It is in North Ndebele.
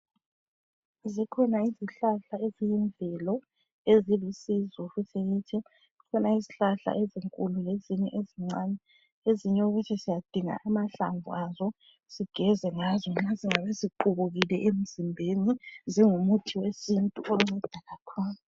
Zikhona izihlahla eziyimvelo ezilusizo futhi kithi. Zikhona izihlahla ezinkulu lezinye ezincane, ezinye okuthi siyadinga amahlamvu azo sigeze ngazo nxa singabe siqubukile emzimbeni. Zingumuthi wesintu onceda kakhulu.